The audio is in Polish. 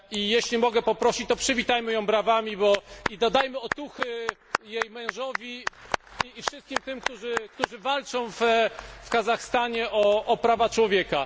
Jeśli mogę prosić, to przywitajmy ją brawami i dodajmy otuchy jej mężowi i wszystkim tym, którzy walczą w Kazachstanie o prawa człowieka.